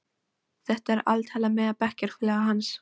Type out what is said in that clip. Þetta er altalað meðal bekkjarfélaga hans.